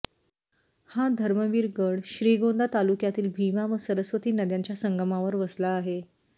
हा धर्मवीर गड श्रीगोंदा तालुक्मयातील भीमा व सरस्वती नद्यांच्या संगमावर वसला आहे